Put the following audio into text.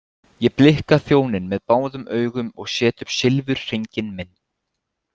Ég blikka þjóninn með báðum augum og set upp silfurhringinn minn.